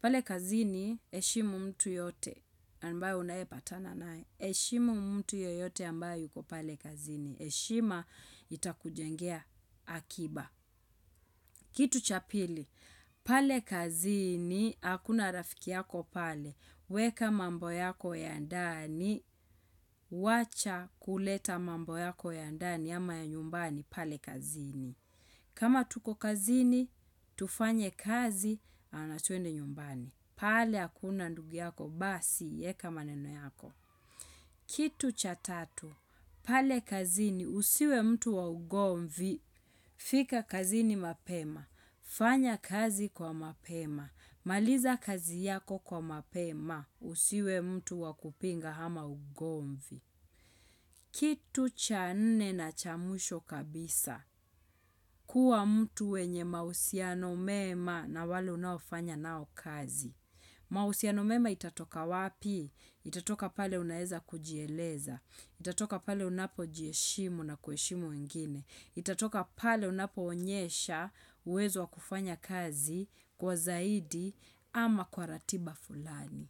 Pale kazi ni heshimu mtu yote ambaye unaye patana nae. Heshimu mtu yoyote ambayo yuko pale kazi ni. Heshima itakujengea akiba. Kitu chapili, pale kazi ni akuna rafiki yako pale. Weka mambo yako ya ndani, wacha kuleta mambo yako ya ndani ama ya nyumbani. Pale kazini. Kama tuko kazini, tufanye kazi, natuende nyumbani. Pale hakuna ndugu yako, basi, eka maneno yako. Kitu cha tatu. Pale kazini, usiwe mtu wa ugomvi, fika kazini mapema. Fanya kazi kwa mapema. Maliza kazi yako kwa mapema, usiwe mtu wa kupinga ama ugomvi. Kitu cha nne na chamwisho kabisa kuwa mtu wenye mahusiano mema na wale unaofanya nao kazi. Mausiano mema itatoka wapi? Utatoka pale unaeza kujieleza. Itatoka pale unapo jiheshimu na kuheshimu wengine. Itatoka pale unapo onyesha uwezo wa kufanya kazi kwa zaidi ama kwa ratiba fulani.